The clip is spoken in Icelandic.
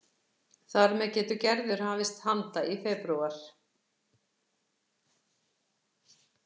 Þar með getur Gerður hafist handa í febrúar